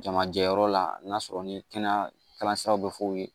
Jamajɛyɔrɔ la n'a sɔrɔ ni kɛnɛya kalansiraw be f'o ye